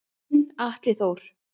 Þinn Atli Þór.